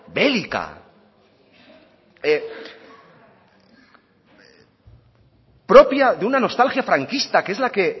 bélica propia de una nostalgia franquista que es la que